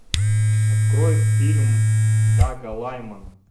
открой фильм дага лаймана